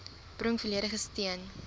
bring volledige steun